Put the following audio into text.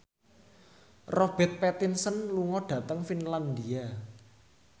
Robert Pattinson lunga dhateng Finlandia